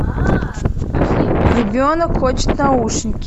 ребенок хочет наушники